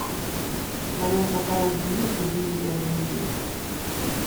в твоем каталоге есть живи и дай умереть